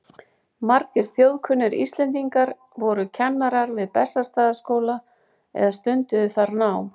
Margir þjóðkunnir Íslendingar voru kennarar við Bessastaðaskóla eða stunduðu þar nám.